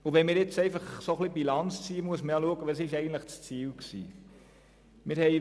Wenn man aber Bilanz zieht, muss man schauen, wie das Ziel ursprünglich ausgesehen hat.